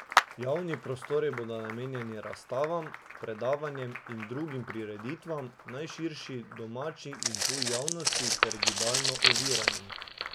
Javni prostori bodo namenjeni razstavam, predavanjem in drugim prireditvam, najširši domači in tuji javnosti ter gibalno oviranim.